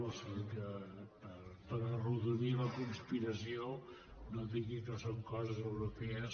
o sigui que per arrodonir la conspiració no digui que són coses europees